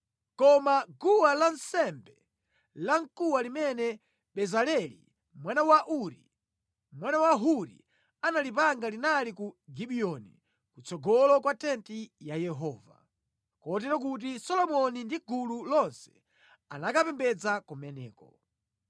Koma guwa lansembe lamkuwa limene Bezaleli mwana wa Uri, mwana wa Huri analipanga linali ku Gibiyoni kutsogolo kwa tenti ya Yehova. Kotero kuti Solomoni ndi gulu lonse anakapembedza kumeneko.